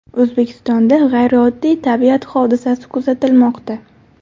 O‘zbekistonda g‘ayrioddiy tabiat hodisasi kuzatilmoqda.